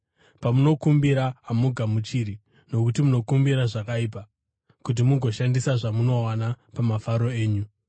Pamunokumbira, hamugamuchiri, nokuti munokumbira zvakaipa, kuti mugoshandisa zvamunowana pamafaro enyu.